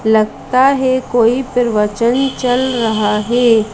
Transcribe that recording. लगता है कोई प्रवचन चल रहा है।